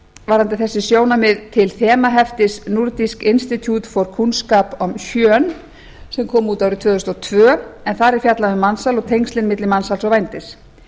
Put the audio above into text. varðandi þessi sjónarmið vitna til þemaheftis nordisk institutt for kunnskap om kjønn sem kom út árið tvö þúsund og tvö en þar er fjallað um mansal og tengslin milli mansals og vændis